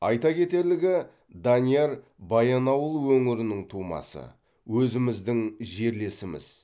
айта кетерлігі данияр баянауыл өңірінің тумасы өзіміздің жерлесіміз